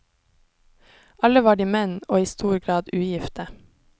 Alle var de menn og i stor grad ugifte.